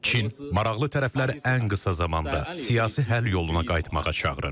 Çin maraqlı tərəfləri ən qısa zamanda siyasi həll yoluna qayıtmağa çağırır.